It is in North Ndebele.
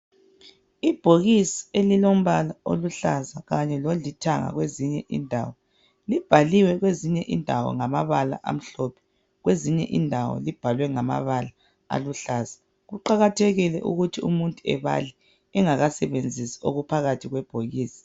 Ibhokisi elilombala oluhlaza kanye lolithanga kwezinye indawo. Libhaliwe kwezinye indawo ngamabala amhlophe, kwezinye indawo libhalwe ngamabala aluhlaza. Kuqakathekile ukuthi umuntu ebale engakasebenzisi okuphakathi kwebhokisi.